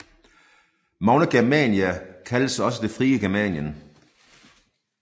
Magna Germania kaldtes også det frie Germanien